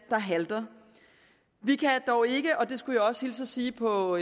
der halter vi kan dog ikke og det skulle jeg også hilse og sige på